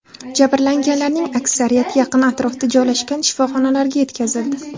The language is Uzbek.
Jabrlanganlarning aksariyati yaqin atrofda joylashgan shifoxonalarga yetkazildi.